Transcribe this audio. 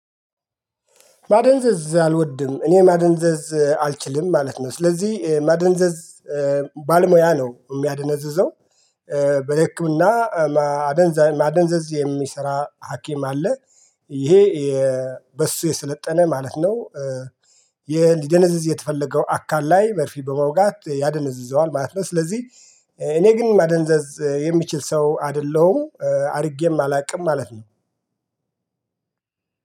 ማደንዘዝ አልወድም እኔ ማደንዘዝ አልችልም ማለት ነው ስለዚህ ማደንዘዝ ባለሙያ ነው የሚያደነዝዘው በህክምና አደንዛ ማደንዘዝ የሚሰራ ሀኪም አለ። ይሄ በሱ የሰለጠነ ማለት ነው እንዲደነዝዝ የተፈለገው አካል ላይ መርፊ በመውጋት ያደነዝዘዋል ማለት ነው ስለዚህ እኔ ግን ማደነዘዝ የሚችል ሰው አይደለሁም አድርጌም አላውቅም ማለት ነው።